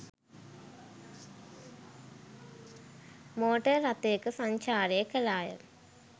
Motor රථයක සංචාරය කළාය.